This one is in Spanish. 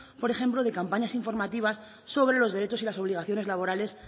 por ejemplo de campañas informativas sobre los derechos y las obligaciones laborales